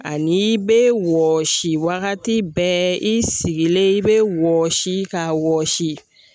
An'i be wɔsi wagati bɛɛ i sigilen i be wɔsi ka wɔsi